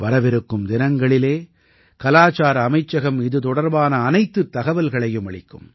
வரவிருக்கும் தினங்களில் கலாச்சார அமைச்சகம் இது தொடர்பான அனைத்துத் தகவல்களையும் அளிக்கும்